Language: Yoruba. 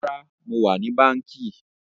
Rárá, mo wà ní báńkì